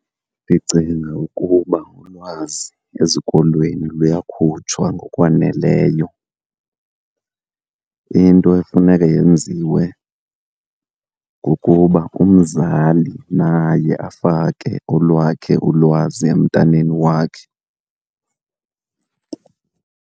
Ndicinga ukuba ulwazi ezikolweni luyakhutshwa ngokwaneleyo. Into efuneke yenziwe kukuba umzali naye afake olwakhe ulwazi emntaneni wakhe.